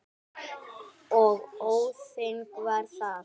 Og þannig varð það.